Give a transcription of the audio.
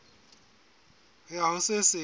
ho ya ho se seng